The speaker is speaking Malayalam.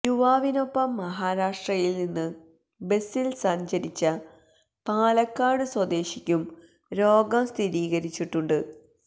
യുവാവിനൊപ്പം മഹാരാഷ്ട്രയിൽനിന്ന് ബസിൽ സഞ്ചരിച്ച പാലക്കാട് സ്വദേശിക്കും രോഗം സ്ഥിരീകരിച്ചിട്ടുണ്ട്